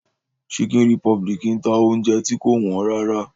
Chicken republic ń ta oúnjẹ tí kò wọ́n rárá